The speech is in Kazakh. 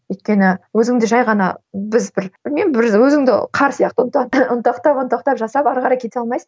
өйткені өзіңді жай ғана біз бір білмеймін бір өзіңді қар сияқты ұнтақтап ұнтақтап жасап ары қарай кете алмайсың